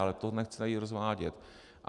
Ale to nechci tady rozvádět.